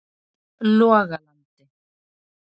Logalandi